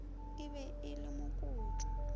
e be e le mokoto